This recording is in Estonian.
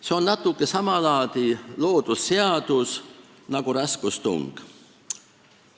See on natuke sama laadi loodusseadus nagu raskustung.